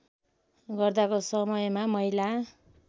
गर्दाको समयमा महिला